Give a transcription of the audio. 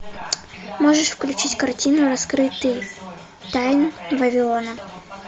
можешь включить картину раскрытие тайн вавилона